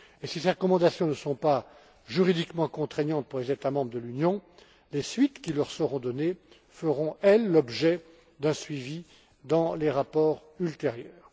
Si ces recommandations ne sont pas juridiquement contraignantes pour les États membres de l'Union, les suites qui y seront données feront, elles, l'objet d'un suivi dans les rapports ultérieurs.